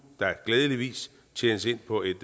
glædeligvis tjenes ind på et